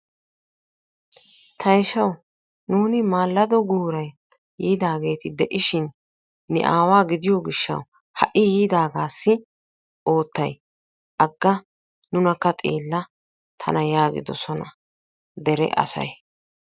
Tayshawu nuuni maallado guuran yiidaageeti de'ishin ne aawaa gidiyo gishshawu ha''i yiidaagaassi oottay? Agga nunakka xeella tana yaagidosona dere asay.